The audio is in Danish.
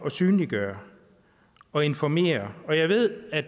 at synliggøre og informere og jeg ved at